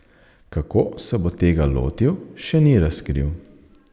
Kako se bo tega lotil, še ni razkril.